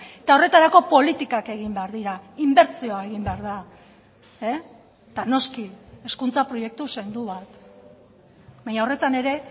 eta horretarako politikak egin behar dira inbertsioa egin behar da eta noski hezkuntza proiektu sendo bat baina horretan ere